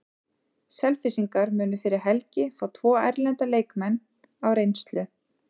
Selfyssingar munu fyrir helgi fá tvo erlenda leikmenn á reynslu.